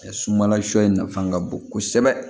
Sunbala shɔ in nafan ka bon kosɛbɛ